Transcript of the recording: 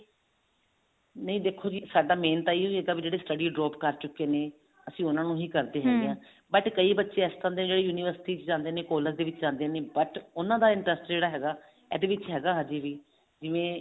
ਨਹੀਂ ਦੇਖੋ ਜੀ ਸਾਡਾ main ਤਾਂ ਇਹੀ ਹੈਗਾ ਵੀ ਜਿਹੜੇ study drop ਕਰ ਚੁੱਕੇ ਨੇ ਅਸੀਂ ਉਹਨਾ ਨੂੰ ਹੀ ਕਰਦੇ but ਕਈ ਬੱਚੇ ਇਹੋ ਜਿਹੇ ਨੇ university ਦੇ ਵਿੱਚ ਜਾਂਦੇ ਕਾਲੇਜ ਦੇ ਵਿੱਚ ਜਾਂਦੇ ਨੇ but ਉਹਨਾ ਦਾ interest ਜਿਹੜਾ ਹੈਗਾ ਇਹਦੇ ਵਿੱਚ ਹੈਗਾ ਹਜੇ ਵੀ ਜਿਵੇਂ